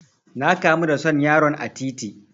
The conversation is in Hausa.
Na kamu da son yaron a titi.